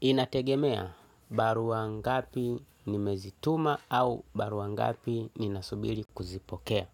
Inategemea barua ngapi nimezituma au barua ngapi ninasubiri kuzipokea.